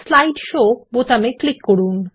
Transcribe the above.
slide show বোতামে click করুন